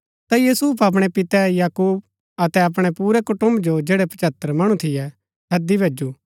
ता यूसुफ अपणै पिते याकूब अतै अपणै पुरै कुटुम्ब जो जैड़ै पच्हत्तर मणु थियै हैदी भैजु